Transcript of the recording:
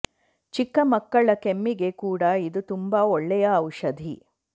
ಚಿಕ್ಕ ಮಕ್ಕಳ ಕೆಮ್ಮಿಗೆ ಕೂಡ ಇದು ತುಂಬ ಒಳ್ಳೆಯ ಔಷಧಿ